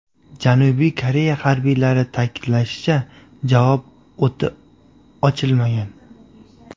Janubiy Koreya harbiylari ta’kidlashicha, javob o‘ti ochilmagan.